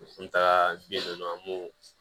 N taga bi dɔ an b'o